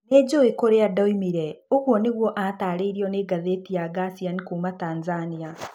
Nĩ njũĩ kũrĩa ndoimire", ũguo nĩguo aataarĩirio nĩ ngathĩti ya Gursian kuuma Tanzania.